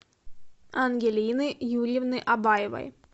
ангелины юрьевны абаевой